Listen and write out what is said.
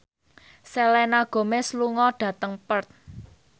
Selena Gomez lunga dhateng Perth